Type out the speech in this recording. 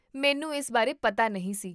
ਮੈਨੂੰ ਇਸ ਬਾਰੇ ਪਤਾ ਨਹੀਂ ਸੀ